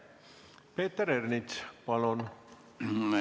Peeter Ernits, palun!